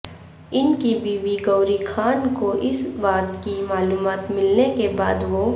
ان کی بیوی گوری خان کو اس بات کی معلومات ملنے کے بعد وہ